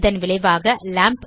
இதன் விளைவாக லாம்ப்